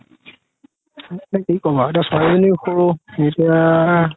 কি কবা আৰু ছোৱালি জনিও সৰু এতিয়া